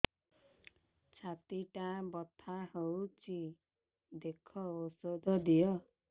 ଛାତି ଟା ବଥା ହଉଚି ଦେଖ ଔଷଧ ଦିଅ